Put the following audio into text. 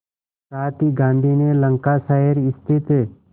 साथ ही गांधी ने लंकाशायर स्थित